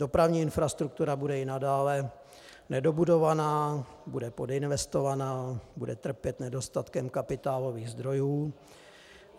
Dopravní infrastruktura bude i nadále nedobudovaná, bude podinvestovaná, bude trpět nedostatkem kapitálových zdrojů.